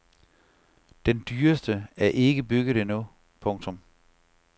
Den dyreste er ikke bygget endnu. punktum